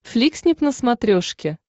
фликснип на смотрешке